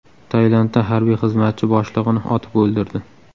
Tailandda harbiy xizmatchi boshlig‘ini otib o‘ldirdi.